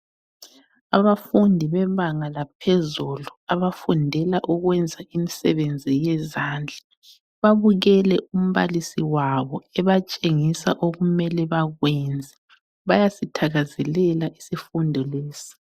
Abafundi bebanga laphezulu abafundela ukwenza imisebenzi yezandla babukele umbalisi wabo ebatshengisa okumele bakwenze, bayasithakazelela isifundo lesi.